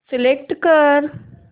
select कर